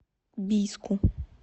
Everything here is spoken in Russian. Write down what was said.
бийску